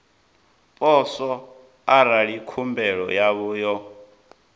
poswo arali khumbelo yavho yo